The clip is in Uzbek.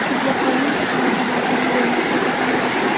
mutlaqo hech qanaqa mazmun bo‘lmasligi ham mumkin.